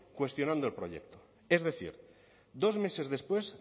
cuestionando el proyecto es decir dos meses después